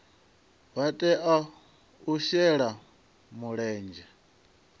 vha tea u shela mulenzhe